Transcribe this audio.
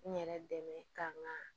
N yɛrɛ dɛmɛ ka n ka